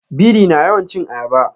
Biri na yawan cin ayaba.